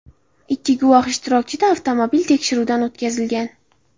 Ikki guvoh ishtirokida avtomobil tekshiruvdan o‘tkazilgan.